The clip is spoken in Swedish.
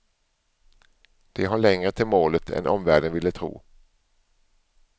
De har längre till målet än omvärlden ville tro.